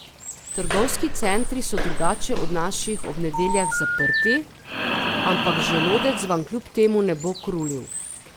Trgovski centri so drugače od naših ob nedeljah zaprti, ampak želodec vam kljub temu ne bo krulil.